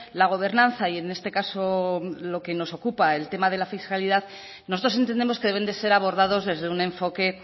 la gobernanza y en este caso lo que nos ocupa el tema de la fiscalidad nosotros entendemos que deben de ser abordados desde un enfoque